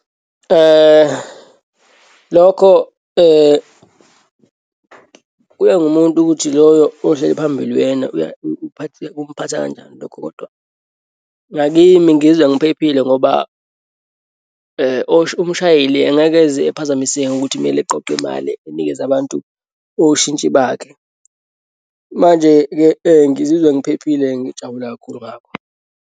Lokho kuya ngumuntu ukuthi loyo ohleli phambili uyena kumphatha kanjani lokho. Kodwa ngakimi, ngizwa ngiphephile ngoba umshayeli engeke ize ephazamiseke ngokuthi kumele eqoqe imali anikeze abantu oshintshi bakhe. Manje-ke ngizizwa ngiphephile. Ngijabule kakhulu ngakho.